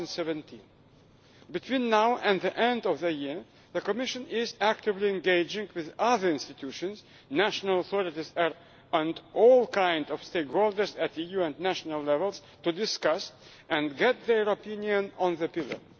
2017. Between now and the end of the year, the Commission is actively engaging with other institutions, national authorities and all kinds of stakeholder at EU and national levels to discuss and get their opinion on the pillar.